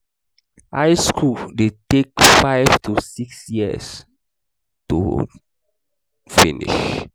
high school de take five to six years to to finish